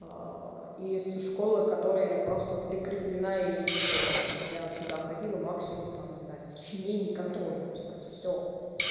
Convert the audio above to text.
из школы которой я просто прикрепленна не более я туда ходила максимум там не знаю сочинение контрольную писать всё